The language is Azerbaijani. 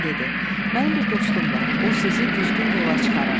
Mənim bir dostum var, o sizi düzgün yola çıxarar.